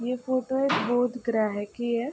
ये फोटो एक बुध ग्रह की है।